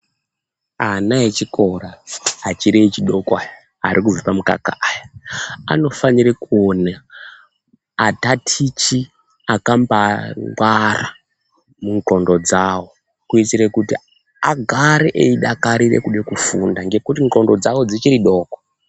Ana echikora achiri echidoko aya, ari kubva pamukaka aya, anofanire kuone, atatichi akambaangwara mundxondo dzavo ,kuitire kuti agare eidakarire kufunda, ngekuti ndxondo dzavo dzichiri doko.